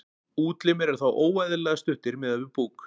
útlimir eru þá óeðlilega stuttir miðað við búk